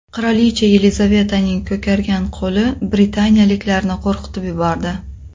Qirolicha Yelizavetaning ko‘kargan qo‘li britaniyaliklarni qo‘rqitib yubordi.